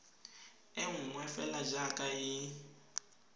e nngwe fela jaaka e